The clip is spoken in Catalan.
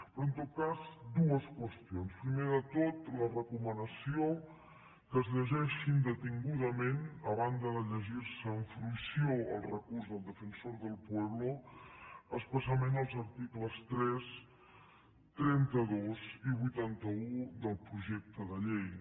però en tot cas dues qüestions primer de tot la recomanació que es llegeixin detingudament a banda de llegirse amb fruïció el recurs del defensor del pueblo especialment els articles tres trenta dos i vuitanta un del projecte de llei